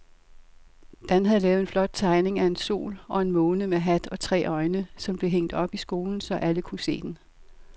Dan havde lavet en flot tegning af en sol og en måne med hat og tre øjne, som blev hængt op i skolen, så alle kunne se den.